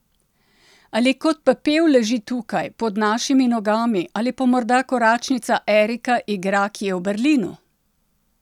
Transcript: Ali kot pepel leži tukaj, pod našimi nogami, ali pa morda koračnica Erika igra kje v Berlinu?